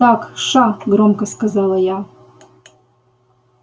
так ша громко сказала я